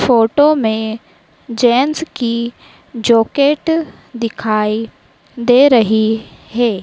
Photo में gents की jacket दिखाई दे रही हैं।